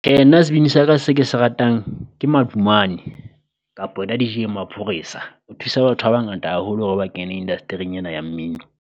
Nna sebini sa ka se ke se ratang ke Matumane kapo ena D_J Maphorisa o thusa batho ba bangata haholo hore ba kene Indastering ena ya mmino.